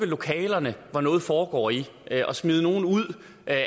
lokaler hvor noget foregår i og smide nogle ud af